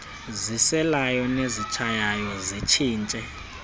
ziselayo nezitshayayo zitshintshe